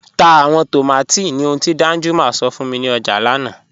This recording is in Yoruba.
Tá awọn tómátí ní òhùn ti Danjuma sọ̀ fún mi ni ọjà lánà